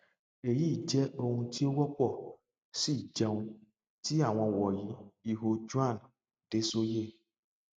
eyi jẹ ohun ti o wọpọ si jẹun ti awọn wọnyi iho joan dessoye